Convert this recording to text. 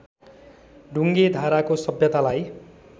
ढुङ्गे धाराको सभ्यतालाई